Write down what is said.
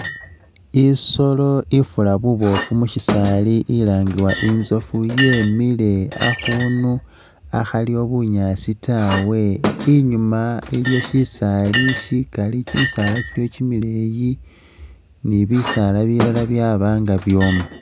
I'solo ifura buboofu musisaali ilangiwa intsoofu yemile akhundu akhaliwo bunyaasi tawe inyuma iliwo shisaali sikali kimisaala kimileyi ni bisaala bilala byaba nga byooma